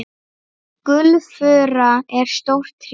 Gulfura er stórt tré.